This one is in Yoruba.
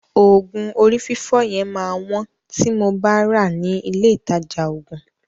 Òògùn orí fífọ́ yẹn máa wọ́n tí mo bá ràá ní ilé ìtajà òògùn.